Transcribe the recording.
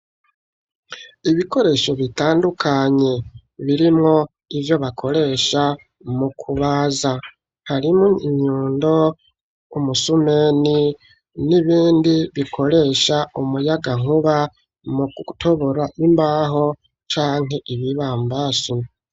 Ibikoresho bitandukanye birimwo ivyo bakoresha mu kubaza, harimwo inyundo, umusumeni n'ibindi bikoresha umuyagankuba mu gutobora imbaho canke ibibambasi.